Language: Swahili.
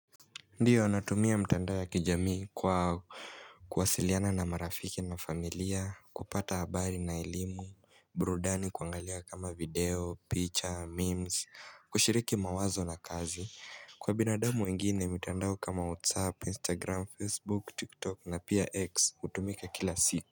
Ndiyo natumia mtandao ya kijamii kwa kuwasiliana na marafiki na familia, kupata habari na elimu, burudani kuangalia kama video, picha, memes, kushiriki mawazo la kazi Kwa binadamu wengine mitandao kama whatsapp, instagram, facebook, tiktok na pia x kutumika kila siku.